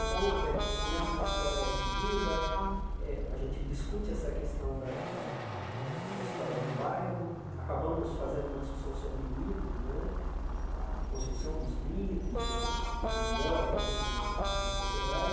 Então, eh eu começo com uma história de vida, eh a gente discute essa questão da da da da história do bairro, acabamos fazendo uma discussão sobre mito né, a a construção dos mitos na na na memória né de uma so de uma sociedade.